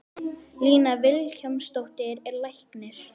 Lína Vilhjálmsdóttir er læknir.